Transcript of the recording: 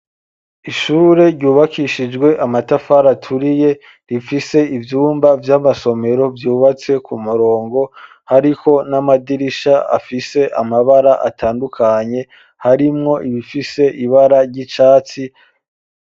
Ishure ryubakishijwe amatafari aturiye rifise ivyumba vy'amasomero vyubatse ku murongo hariko n'amadirisha afise amabara atandukanye harimwo ibifise ibara ry'icatsi.